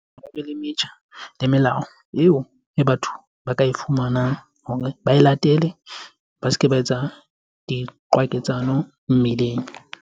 Ba be le metjha le melao eo e batho ba ka e fumanang hore ba e latele ba se ke, ba etsa diqwaketsano.